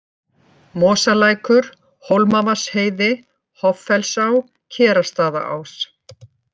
Mosalækur, Hólmavatnsheiði, Hoffellsá, Kerastaðaás